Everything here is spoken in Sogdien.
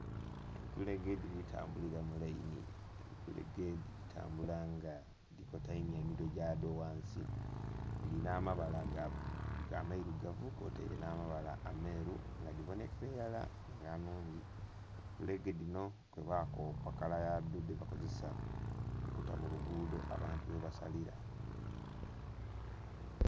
Entulege dhiri tambulila mu lainhi, entulege dhitambula nga dhikoteimya emitwe dha dho ghansi. Dhirina amabala ameirugavu kwotaire nha mabala ameeru nga dhibonhekera ilala nga nnhungi. Entulege dhinho kwe ba kopaa kala yadho yebakozesa okuta mu luguudo abantu ghe basalira.